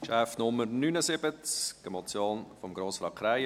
Traktandum Nummer 79, eine Motion von Grossrat Krähenbühl: